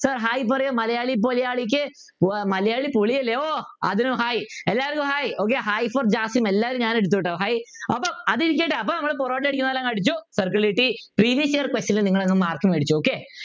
sir hi പറയു മലയാള ക്കു ഉവ്വ് മലയാളി പോളിയല്ലേ ഓഹ് അതിനും hi എല്ലാർക്കും hi okay hi for jasim എല്ലാരും ഞാൻ എടുത്തു ട്ടോ hi അപ്പൊ അതിരിക്കട്ടെ അപ്പോൾ നമ്മൾ പൊറോട്ട അടിക്കുന്നത് പോലെ അങ് അടിച്ചു circle കിട്ടി question ൽ നിങ്ങൾ അങ്ങ് mark മേടിച്ചോ okay